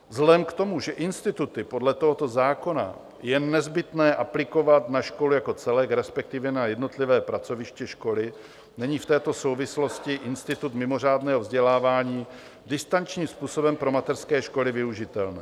Vzhledem k tomu, že instituty podle tohoto zákona je nezbytné aplikovat na školu jako celek, respektive na jednotlivá pracoviště školy, není v této souvislosti institut mimořádného vzdělávání distančním způsobem pro mateřské školy využitelný.